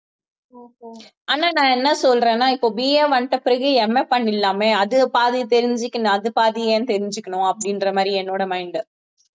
ஆனா நான் என்ன சொல்றேன்னா இப்ப BA வந்திட்ட பிறகு MA பண்ணிரலாமே அது பாதி தெரிஞ்சுக்கணும் அது பாதி ஏன்னு தெரிஞ்சுக்கணும் அப்படின்ற மாதிரி என்னோட mind